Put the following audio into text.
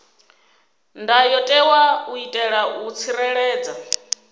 ndayotewa u itela u tsireledza